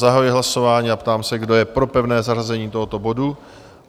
Zahajuji hlasování a ptám se, kdo je pro pevné zařazení tohoto bodu?